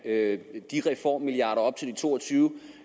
have de reformmilliarder op til de to og tyve